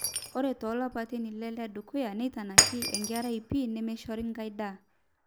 ore toolapaitin ile ledukuya neitanaki enkerai pii nemeishori ai daa